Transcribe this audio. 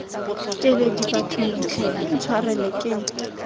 keledi bathong tlhe intshwareleng ke